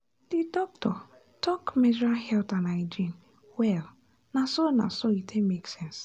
the doctor talk menstrual health and hygiene well na so na so e take make sense.